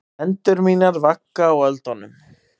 Hendur mínar vagga á öldunum.